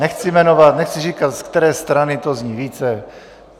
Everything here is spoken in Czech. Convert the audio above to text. Nechci jmenovat, nechci říkat, z které strany to zní více.